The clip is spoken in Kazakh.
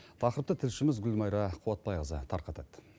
тақырыты тілшіміз гүлмайра қуатбайқызы тарқатады